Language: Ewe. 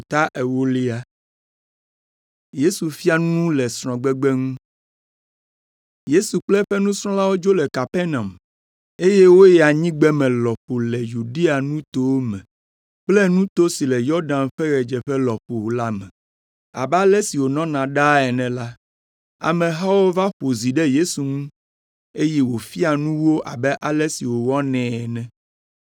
Yesu kple eƒe nusrɔ̃lawo dzo le Kapernaum, eye woyi anyigbeme lɔƒo le Yudea nutowo me kple nuto si le Yɔdan ƒe ɣedzeƒe lɔƒo la me. Abe ale si wònɔna ɖaa ene la, amehawo va ƒo zi ɖe Yesu ŋu, eye wòfia nu wo abe ale si wòwɔnɛ ene.